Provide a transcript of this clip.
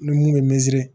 Ni mun ye miirizi